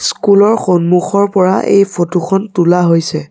School ৰ সন্মুখৰ পৰা এই ফটো খন তোলা হৈছে।